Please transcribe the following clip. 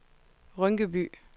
Rynkeby